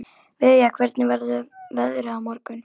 Viðja, hvernig verður veðrið á morgun?